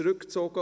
zurückgezogen;